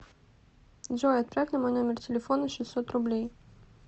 джой отправь на мой номер телефона шестьсот рублей